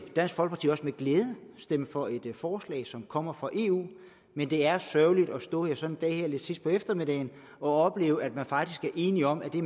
dansk folkeparti også med glæde stemme for et forslag som kommer fra eu men det er sørgeligt at stå her sådan sidst på eftermiddagen og opleve at vi faktisk er enige om at vi